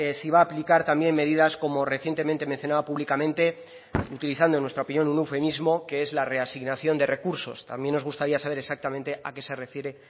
si va a aplicar también medidas como recientemente mencionaba públicamente utilizando en nuestra opinión un eufemismo que es la reasignación de recursos también nos gustaría saber exactamente a qué se refiere